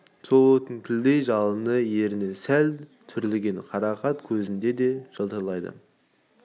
сол оттың тілдей жалыны ерні сәл түрілген қарақат көзінде де жылтырайды